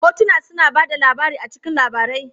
Hotuna suna ba da labari a cikin labarai.